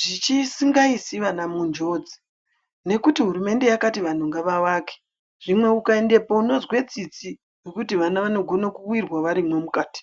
zvisingaisi vana munjodzi nekuti hurumende yakati vantu ngavavake. Zvimwe ukaendepo unonzwe tsitsi ngokuti vana vanogone kuwirwa varimo mukati.